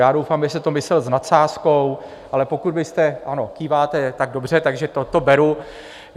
Já doufám, že jste to myslel s nadsázkou, ale pokud byste - ano, kýváte, tak dobře, takže to beru.